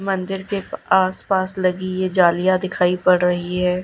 मंदिर के प आस पास लगी ये जालियां दिखाई पड़ रही है।